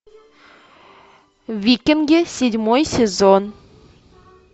викинги седьмой сезон